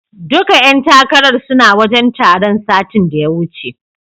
Duka ƴan takarar suna wajen taron satin da ya wuce.